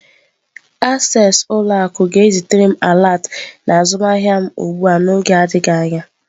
Access ụlọ akụ ga-ezitere m alert na azụmahịa m ugbu a n'oge adịghị anya.